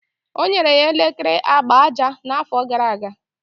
O nyere ya elekere agba aja n'afọ gara aga.